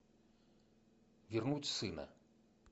вернуть сына